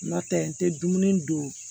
N'o tɛ n tɛ dumuni dun